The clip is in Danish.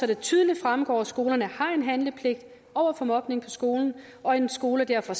det tydeligt fremgår at skolerne har en handlepligt over for mobning på skolen og at en skole derfor